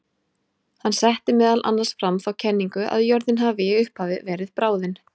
Hann setti meðal annars fram þá kenningu að jörðin hafi í upphafi verið bráðin.